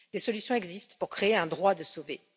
Des solutions existent pour créer un droit de sauver.